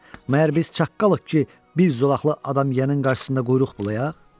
Məyər biz çaqqalıq ki, bir zolaqlı adam yeyənin qarşısında quyruq bulayaq?